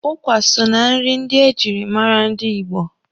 Ụkwa so na nri ndị e jiri mara ndị Igbo.